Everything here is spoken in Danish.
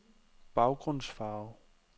baggrundsfarve